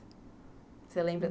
Você lembra?